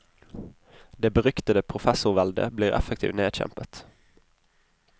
Det beryktede professorveldet blir effektivt nedkjempet.